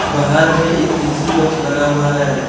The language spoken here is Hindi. बाहर में एक ऐ_सी बॉक्स लगा हुआ है।